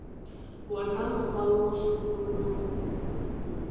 wona mokgwa wo sekolong mma